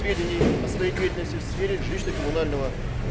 сведений о своей деятельности в сфере жилищно-коммунального ээ